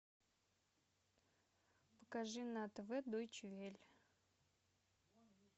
покажи на тв дойче велле